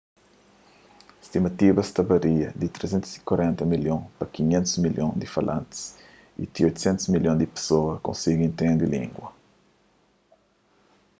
stimativas ta varia di 340 milhon a 500 milhon di falantis y ti 800 milhon di pesoas konsigi intende língua